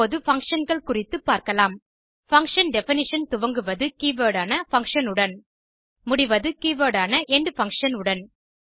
இப்போது Functionகள் குறித்து பார்க்கலாம் பங்ஷன் டெஃபினிஷன் துவங்குவது கீவர்ட் ஆன பங்ஷன் உடன் முடிவது கீவர்ட் ஆன எண்ட்ஃபங்க்ஷன் உடன்